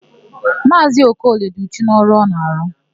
Maazị Okoli dị uchu n'ọrụ ọ na-arụ.